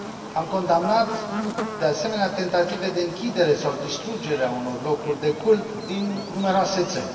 Am condamnat, de asemenea, tentative de închidere sau distrugere a unor locuri de cult din numeroase țări.